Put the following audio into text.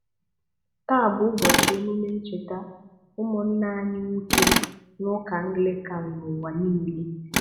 Taa bụ ụbọchị emume ncheta ụmụnna anyị nwoke n’Ụka Anglịkan n’ụwa niile.